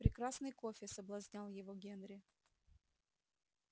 прекрасный кофе соблазнял его генри